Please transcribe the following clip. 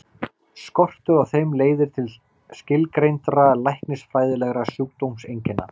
Skortur á þeim leiðir til skilgreindra læknisfræðilegra sjúkdómseinkenna.